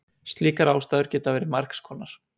Slíkar ástæður geta verið margs konar.